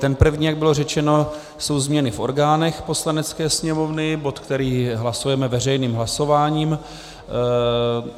Ten první, jak bylo řečeno, jsou změny v orgánech Poslanecké sněmovny, bod, který hlasujeme veřejným hlasováním.